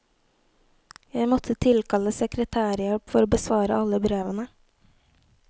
Jeg måtte tilkalle sekretærhjelp for å besvare alle brevene.